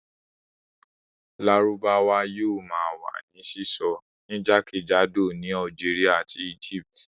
Lárúbáwá yóò ma wà ní sísọ ní jákèjádò ní Algeria àti Egypt